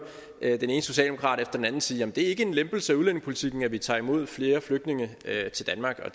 den ene socialdemokrat efter den anden sige at det ikke er en lempelse af udlændingepolitikken at vi tager imod flere flygtninge til danmark og